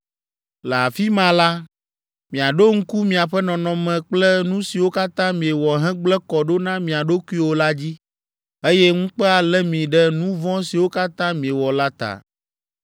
Le afi ma la, miaɖo ŋku miaƒe nɔnɔme kple nu siwo katã miewɔ hegblẽ kɔ ɖo na mia ɖokuiwo la dzi, eye ŋukpe alé mi ɖe nu vɔ̃ siwo katã miewɔ la ta.